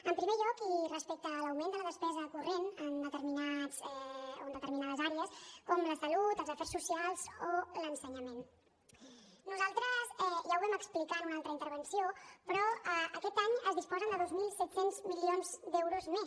en primer lloc i respecte a l’augment de la despesa corrent en determinades àrees com la salut els afers socials o l’ensenyament nosaltres ja ho vam explicar en una altra intervenció però aquest any es disposa de dos mil set cents milions d’euros més